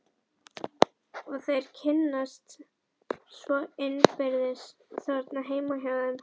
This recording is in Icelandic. Og þeir kynnast svo innbyrðis þarna heima hjá þeim.